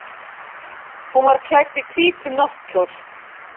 Hún var klædd hvítum náttkjól.